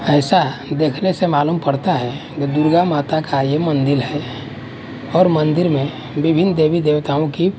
ऐसा देखने से मालूम पड़ता है ये दुर्गा माता का ये मंदिर है और मंदिर में विभिन्न देवी देवताओं की--